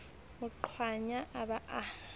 mo qwaya a ba a